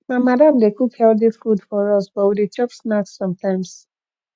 my madam dey cook healthy food for us but we dey chop snacks sometimes